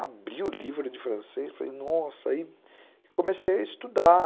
Abri o livro de francês e falei nossa... E comecei a estudar.